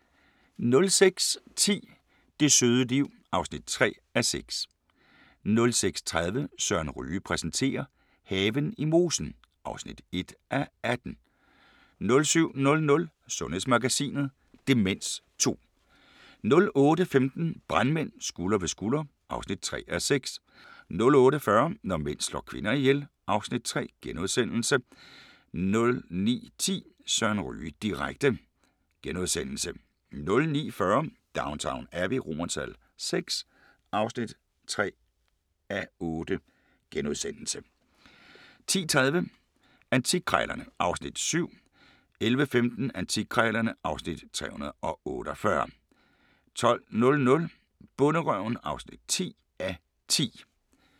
06:10: Det søde liv (3:6) 06:30: Søren Ryge præsenterer: Haven i mosen (1:18) 07:00: Sundhedsmagasinet: Demens 2 08:15: Brandmænd – Skulder ved skulder (3:6) 08:40: Når mænd slår kvinder ihjel (Afs. 3)* 09:10: Søren Ryge direkte * 09:40: Downton Abbey VI (3:8)* 10:30: Antikkrejlerne (Afs. 7) 11:15: Antikkrejlerne (Afs. 348) 12:00: Bonderøven (10:10)